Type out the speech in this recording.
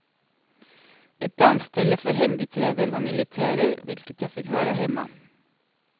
Ett dansställe för hembiträden och militärer, vilket jag fick höra hemma.